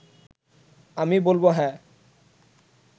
আমি বলব হ্যাঁ